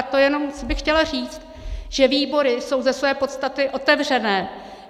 A to jenom bych chtěla říct, že výbory jsou ze své podstaty otevřené.